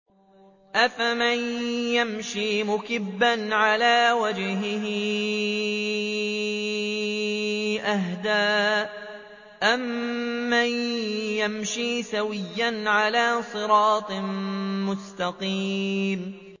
أَفَمَن يَمْشِي مُكِبًّا عَلَىٰ وَجْهِهِ أَهْدَىٰ أَمَّن يَمْشِي سَوِيًّا عَلَىٰ صِرَاطٍ مُّسْتَقِيمٍ